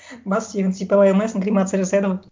бассүйегін сипалай алмайсың кремация жасайды ғой